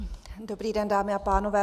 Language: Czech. Dobrý den, dámy a pánové.